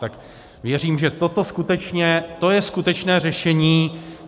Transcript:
Tak věřím, že toto skutečně, to je skutečné řešení.